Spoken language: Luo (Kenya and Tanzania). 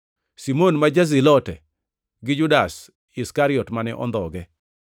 Simon ma ja-Zilote gi Judas Iskariot mane ondhoge.